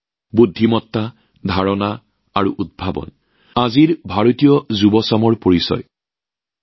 বুদ্ধিমত্তা ধাৰণা আৰু উদ্ভাৱন আজি ভাৰতীয় যুৱকযুৱতীসকলৰ প্ৰতীক